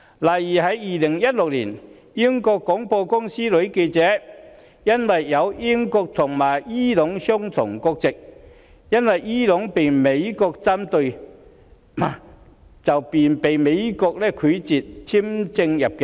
例如 ，2016 年，英國廣播公司女記者持有英國和伊朗雙重國籍，由於美國針對伊朗，美國便拒絕向她發出入境簽證。